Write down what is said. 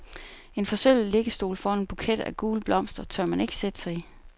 En forsølvet liggestol foran en buket af gule blomster tør man ikke sætte sig i.